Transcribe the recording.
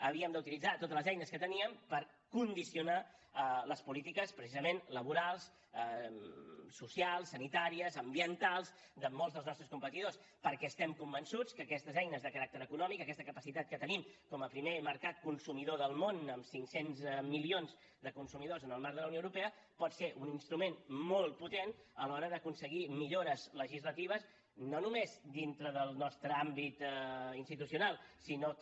havíem d’utilitzar totes les eines que teníem per condicionar les polítiques precisament laborals socials sanitàries ambientals de molts dels nostres competidors perquè estem convençuts que aquestes eines de caràcter econòmic aquesta capacitat que tenim com a primer mercat consumidor del món amb cinc cents milions de consumidors en el marc de la unió europea pot ser un instrument molt potent a l’hora d’aconseguir millores legislatives no només dintre del nostre àmbit institucional sinó que